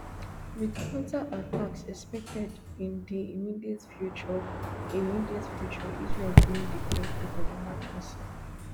wit counterattacks expected in di immediate future immediate future israel bin declare state of emergency